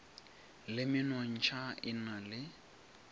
le menontšha e na le